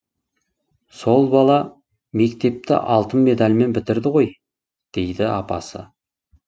сол бала мектепті алтын медальмен бітірді ғой дейді апасы